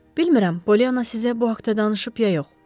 Bilmürəm, Polyana sizə bu haqda danışıb ya yox.